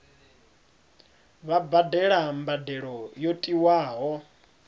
vha badele mbadelo yo tiwaho